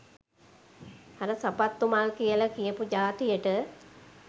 අර සපත්තු මල් කියල කියපු ජාතියට